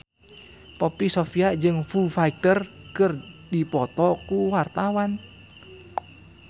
Poppy Sovia jeung Foo Fighter keur dipoto ku wartawan